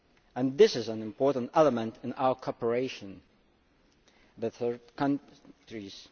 and this is an important element in our cooperation with third countries.